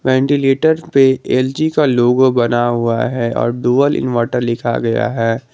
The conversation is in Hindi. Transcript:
वेंटिलेटर पे एल_जी का लोगो बना हुआ है और ड्यूल इनवर्टर लिखा गया है।